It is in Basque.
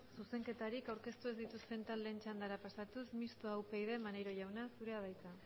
zuzenketarik aurkeztu ez dituzten taldeen txandara pasatuz mistoa upyd maneiro jauna zurea da hitza